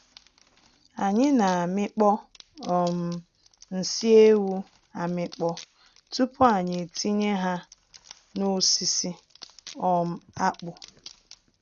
Anyị na amịkpọ um nsị ewu amịkpọ tupu anyị etinye ha nosisi um akpụ.